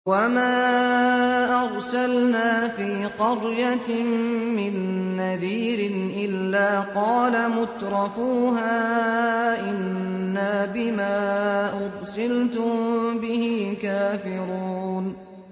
وَمَا أَرْسَلْنَا فِي قَرْيَةٍ مِّن نَّذِيرٍ إِلَّا قَالَ مُتْرَفُوهَا إِنَّا بِمَا أُرْسِلْتُم بِهِ كَافِرُونَ